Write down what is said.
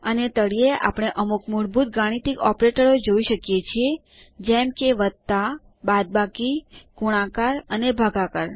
અને તળિયે આપણે અમુક મૂળભૂત ગાણિતિક ઓપરેટરો જોઈ શકીએ છીએ જેમ કે વત્તા બાદબાકી ગુણાકાર અને ભાગાકાર